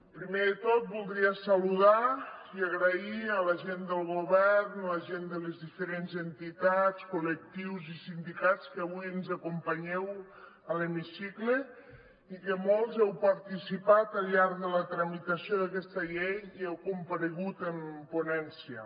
primer de tot voldria saludar i agrair a la gent del govern a la gent de les diferents entitats col·lectius i sindicats que avui ens acompanyeu a l’hemicicle i que molts heu participat al llarg de la tramitació d’aquesta llei i heu comparegut en ponència